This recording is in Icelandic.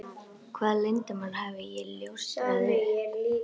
Hvaða leyndarmáli hafði ég ljóstrað upp?